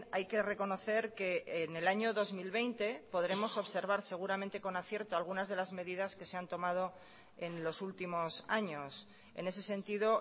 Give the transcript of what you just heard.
hay que reconocer que en el año dos mil veinte podremos observar seguramente con acierto algunas de las medidas que se han tomado en los últimos años en ese sentido